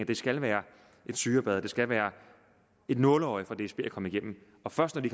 det skal være et syrebad det skal være et nåleøje for dsb at komme igennem og først når de